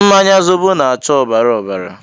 Mmanya zobo na-acha ọbara ọbara